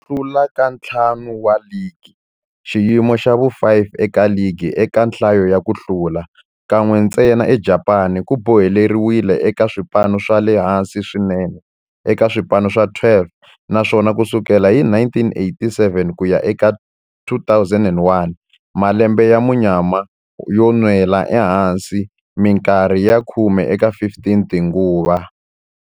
Ku hlula ka ntlhanu wa ligi, xiyimo xa vu-5 eka ligi eka nhlayo ya ku hlula, kan'we ntsena eJapani, ku boheleriwile eka swipano swa le hansi swinene eka swipano swa 12, naswona ku sukela hi 1987 ku ya eka 2001, malembe ya munyama yo nwela ehansi minkarhi ya khume eka 15 tinguva.